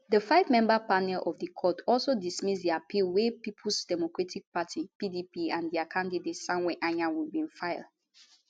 di fivemember panel of di court also dismiss di appeal wey peoples democratic party pdp and dia candidate samuel anyanwu bin file